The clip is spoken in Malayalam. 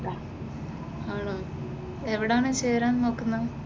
ആണോ, എവിടാണ് ചേരാൻ നോക്കുന്നത്?